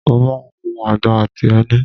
mo máà ń hu agbọ̀n àti ẹni